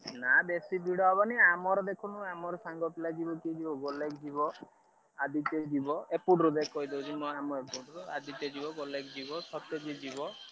ନାଁ ବେଶୀ ଭିଡ ହବନି ଆମର ଦେଖୁଣୁ ଆମର ସାଙ୍ଗ ପିଲା ଆଦିତ୍ୟ ଯିବ ଏପଟରୁ ଯିବ,